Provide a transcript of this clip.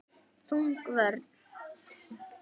Þung vörn.